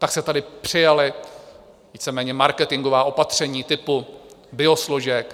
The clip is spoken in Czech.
Pak se tady přijala víceméně marketingová opatření typu biosložek.